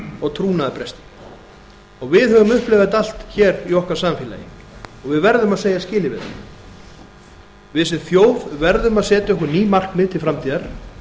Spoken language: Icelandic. og trúnaðarbresti við höfum upplifað þetta allt hér í okkar samfélagi og við verðum að segja skilið við það við sem þjóð verðum að setja okkur ný markmið til framtíðar